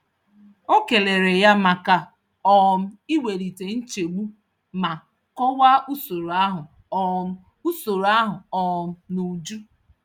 O kelere ya maka um iwelite nchegbu ma kọwaa usoro ahụ um usoro ahụ um n'uju.